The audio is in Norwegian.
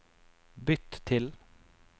bytt til